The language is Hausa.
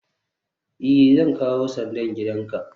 i, Zan kawo sandan gidanka